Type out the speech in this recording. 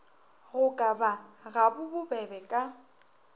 go ka ba gabobebe ka